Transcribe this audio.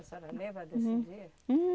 A senhora lembra desse dia?